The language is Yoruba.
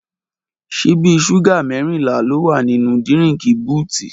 Ṣibi ṣúgà mẹrínlà lò wá ninu dírìnkí bútì